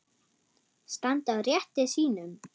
Standa á rétti sínum?